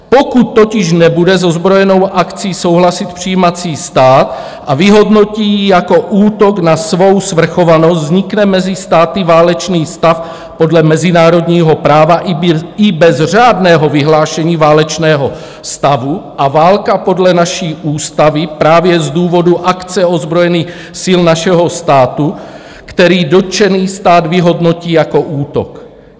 Pokud totiž nebude s ozbrojenou akcí souhlasit přijímací stát a vyhodnotí ji jako útok na svou svrchovanost, vznikne mezi státy válečný stav podle mezinárodního práva i bez řádného vyhlášení válečného stavu a válka podle naší ústavy právě z důvodu akce ozbrojených sil našeho státu, který dotčený stát vyhodnotí jako útok.